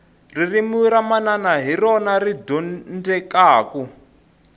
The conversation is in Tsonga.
ririmi ra manana hi rona ri dyondzekaku